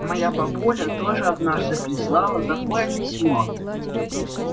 моя бабуля тоже однажды прислала такое письмо